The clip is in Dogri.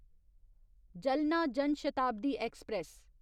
जलना जन शताब्दी ऐक्सप्रैस